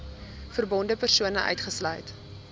verbonde persone uitgesluit